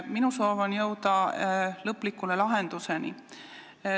Minu soov on jõuda lõpliku lahenduseni.